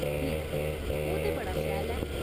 ठीक, ओह् ते बड़ा शैल ऐ।